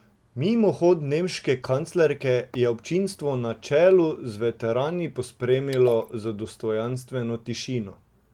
Mimohod nemške kanclerke je občinstvo na čelu z veterani pospremilo z dostojanstveno tišino.